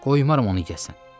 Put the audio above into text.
Qoymaram onu yəsən.